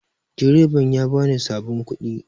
Direban ya bani sabin kuɗi